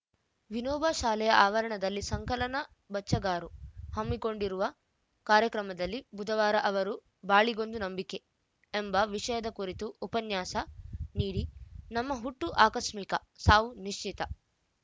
ವಿನೋಬಾ ಶಾಲೆಯ ಆವರಣದಲ್ಲಿ ಸಂಕಲನ ಬಚ್ಚಗಾರು ಹಮ್ಮಿಕೊಂಡಿರುವ ಕಾರ್ಯಕ್ರಮದಲ್ಲಿ ಬುಧವಾರ ಅವರು ಬಾಳಿಗೊಂದು ನಂಬಿಕೆ ಎಂಬ ವಿಷಯದ ಕುರಿತು ಉಪನ್ಯಾಸ ನೀಡಿ ನಮ್ಮ ಹುಟ್ಟು ಆಕಸ್ಮಿಕ ಸಾವು ನಿಶ್ಚಿತ